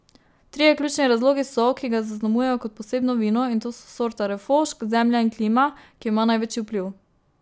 Trije ključni razlogi so, ki ga zaznamujejo kot posebno vino, in to so sorta refošk, zemlja in klima, ki ima največji vpliv.